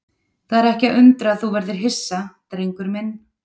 Það er ekki að undra að þú verðir hissa, drengur minn.